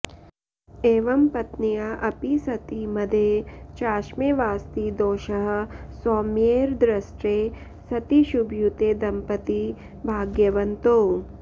एवं पत्न्या अपि सति मदे चाष्मे वास्ति दोषः सौम्यैर्दृष्टे सति शुभयुते दंपती भाग्यवन्तौ